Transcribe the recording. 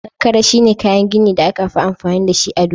Kankare shine kayan gini da aka fi amfani dashi a duniya.